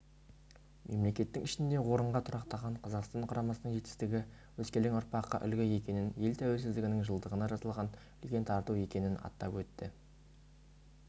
мемлекеттің ішінде орынға тұрақтаған қазақстан құрамасының жетістігі өскелең ұрпаққа үлгі екенін ел тәуелсіздігінің жылдығына жасалған үлкен тарту екенін атап өтті